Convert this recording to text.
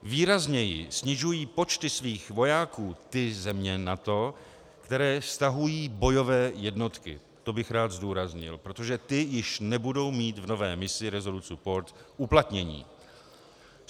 Výrazněji snižují počty svých vojáků ty země NATO, které stahují bojové jednotky, to bych rád zdůraznil, protože ty již nebudou mít v nové misi Resolute Support uplatnění.